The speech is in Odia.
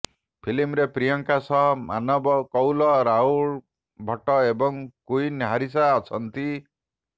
ଫିଲ୍ମରେ ପ୍ରିୟଙ୍କା ସହ ମାନବ କୌଲ ରାହୁଲ ଭଟ୍ଟ ଏବଂ କୁଇନ ହାରିସା ଅଛନ୍ତି